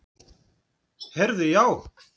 Heyrðu já.